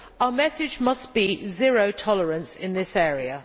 Our message must be zero tolerance in this area.